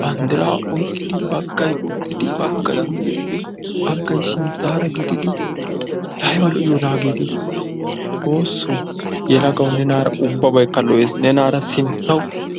banddira oyqqiddi baggay uttiddi baggay guyeppe baggay sinttara gididdi laa aybba lo”iyonnahagett xoosso, yelaggawu nennara ubbabaykka lo”es nennara sinttawu.